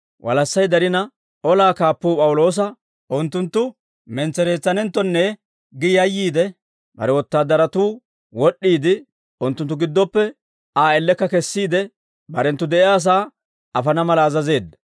Walassay darina, olaa kaappuu P'awuloosa unttunttu mentsereetsanenttonne gi yayyiide, bare wotaadaratuu wod'd'iide, unttunttu giddoppe Aa ellekka kesiide, barenttu de'iyaasaa afana mala azazeedda.